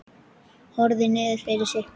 Horfði niður fyrir sig.